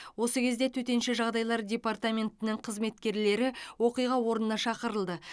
осы кезде төтенше жағдайлар департаментінің қызметкерлері оқиға орнына шақырылды